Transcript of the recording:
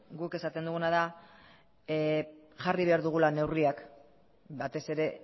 guk esaten duguna da jarri behar dugula neurriak batez ere